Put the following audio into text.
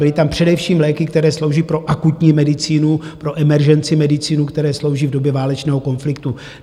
Byly tam především léky, které slouží pro akutní medicínu, pro emergency medicínu, které slouží v době válečného konfliktu.